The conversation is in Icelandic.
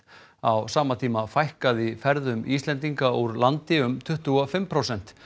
á sama tíma fækkaði ferðum Íslendinga úr landi um tuttugu og fimm prósent